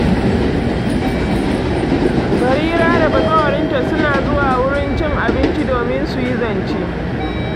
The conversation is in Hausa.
Barira da bazawarinta suna zuwa wurin cin abinci domin su yi zance.